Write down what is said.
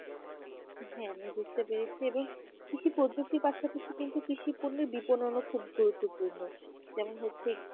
হ্যাঁ আমি বুঝতে পেরেছি এবং কিছু পদ্ধতি ব্যাখ্যা করতে কিন্তু কৃষ পণ্য খুব গুরুত্বপূর্ণ যেমন হচ্ছে